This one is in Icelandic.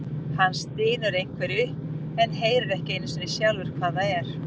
Hann stynur einhverju upp en heyrir ekki einu sinni sjálfur hvað það er.